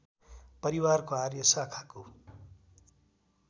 परिवारको आर्य शाखाको